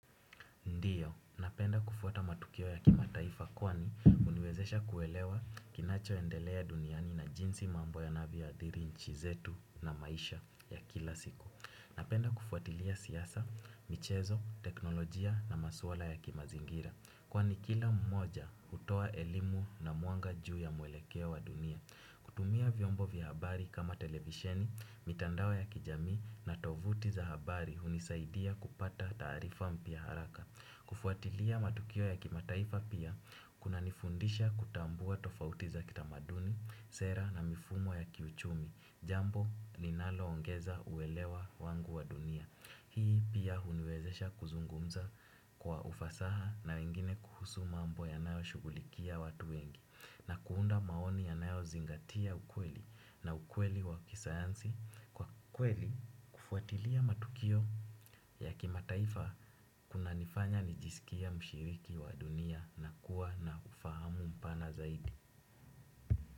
Ndiyo, napenda kufuata matukio ya kimataifa kwani uniwezesha kuelewa kinacho endelea duniani na jinsi mambo yanavyo adhiri nchi zetu na maisha ya kila siku. Napenda kufuatilia siasa, michezo, teknolojia na maswala ya kimazingira. Kwani kila mmoja hutoa elimu na mwanga juu ya mwelekeo wa dunia. Kutumia vyombo vya habari kama televisheni, mitandao ya kijamii na tovuti za habari hunisaidia kupata taarifa mpya haraka. Kufuatilia matukio ya kimataifa pia, kunanifundisha kutambua tofauti za kitamaduni, sera na mifumo ya kiuchumi, jambo ninalo ongeza uwelewa wangu wa dunia. Hii pia huniwezesha kuzungumza kwa ufasaha na wengine kuhusu mambo yanayo shugulikia watu wengi, na kuunda maoni yanayo zingatia ukweli na ukweli wa kisayansi. Kwa kweli kufuatilia matukio ya kimataifa kunanifanya nijisikie mshiriki wa dunia na kuwa na ufahamu mpana zaidi.